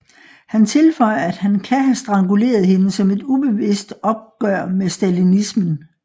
Han tilføjer at han kan have stranguleret hende som et ubevidst opgør med stalinismen